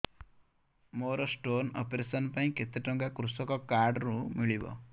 ମୋର stone operation ପାଇଁ କେତେ ଟଙ୍କା କୃଷକ କାର୍ଡ ରୁ ମିଳିବ